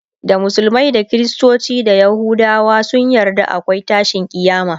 da musulmai da kristoci da yahudawa sun yarda akwai tashin kiyama